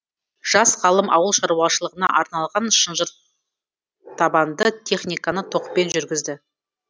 жас ғалым ауыл шаруашылығына арналған шынжыртабанды техниканы токпен жүргізді